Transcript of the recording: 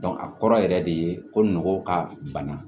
a kɔrɔ yɛrɛ de ko nɔgɔ ka bana